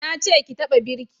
Na ce ki taka birki!